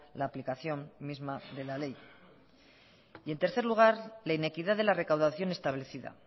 la aplicación misma de la ley y en tercer lugar la inequidad de la recaudación establecida